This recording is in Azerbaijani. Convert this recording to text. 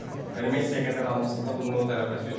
Yəni Messi-yə qədər almısız da, bunun nöqtə tərəfəsi yoxdur.